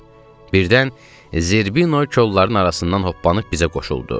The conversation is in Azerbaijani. Birdən Zerbino kollarının arasından hoppanıb bizə qoşuldu.